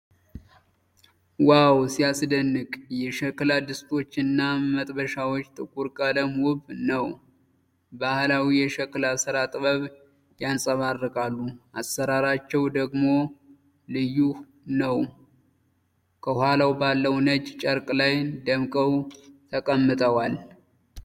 ዋው ሲያስደንቅ! የሸክላ ድስቶች እና መጥበሻዎች ጥቁር ቀለም ውብ ነው!!። ባህላዊ የሸክላ ስራ ጥበብ ያንፀባርቃሉ ፣ አሰራራቸው ደግሞ ልዩ ነው ። ከኋላው ባለው ነጭ ጨርቅ ላይ ደምቀው ተቀምጠዋል።